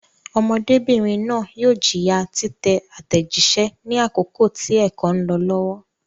Ọmọdébìnrin náà yóò jìyà títẹ àtẹ̀jíṣẹ́ ní àkókò tí ẹ̀kọ́ ń lọ lọ́wọ́.